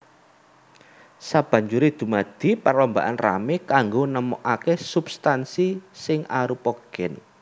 Sabanjuré dumadi perlombaan ramé kanggo nemokaké substansi sing arupa gen